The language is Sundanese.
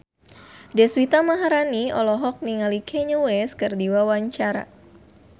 Deswita Maharani olohok ningali Kanye West keur diwawancara